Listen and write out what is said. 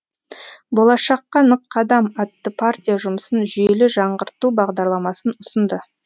болашаққа нық қадам атты партия жұмысын жүйелі жаңғырту бағдарламасын ұсынды